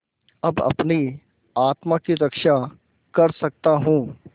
अब अपनी आत्मा की रक्षा कर सकता हूँ